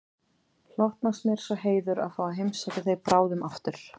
Hlotnast mér sá heiður að fá að heimsækja þig bráðum aftur